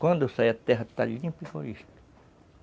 Quando sair a terra está limpa e